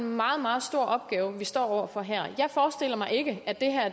en meget meget stor opgave vi står over for her jeg forestiller mig ikke at